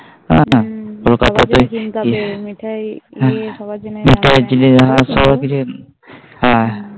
হ্যাঁ যত তাড়াতাড়ি মিঠাই কিনে সবার জন্যে হ্যাঁ মিঠাই কিনে হ্যাঁ